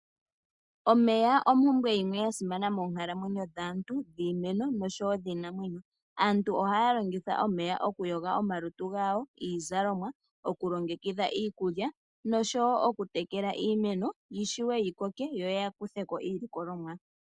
Omeya ompumbwe yimwe yasimana moonkalamwenyo dhaantu, dhiimeno nosho wo dhiinamwenyo. Aantu ohaya longitha omeya okuyoga omalutu gawo, iizalomwa, oku longekidha iikulya nosho wo oku tekela iimeno, yishiwe yi koke yo ya kuthe ko iilikolomwa.